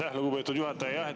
Aitäh, lugupeetud juhataja!